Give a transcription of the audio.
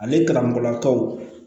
Ale kalamɔgɔlakaw